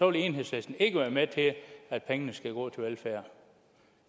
vil enhedslisten ikke være med til at pengene skal gå til velfærd